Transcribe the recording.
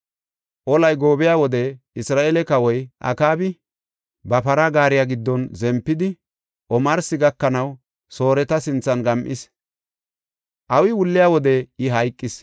Olay goobiya wode Isra7eele kawoy Akaabi ba para gaariya giddon zempidi, omarsi gakanaw Sooreta sinthan gam7is. Awi wulliya wode I hayqis.